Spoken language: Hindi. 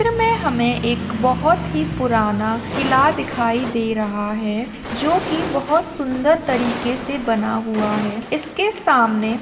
चित्र मे हमे एक बहुत पुराना किला दिखाई दे रहा है जो की बहुत सुंदर तरीके से बना हुआ है इसके सामने--